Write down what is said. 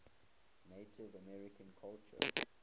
native american culture